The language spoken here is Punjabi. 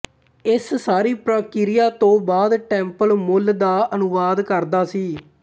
ਇਸ ਸਾਰੀ ਪ੍ਰਕਿਰਿਆ ਤੋਂ ਬਾਅਦ ਟੈਂਪਲ ਮੂਲ ਦਾ ਅਨੁਵਾਦ ਕਰਦਾ ਸੀ